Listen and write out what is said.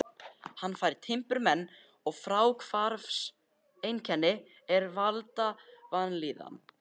Hann fær timburmenn og fráhvarfseinkenni er valda vanlíðan.